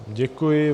Děkuji.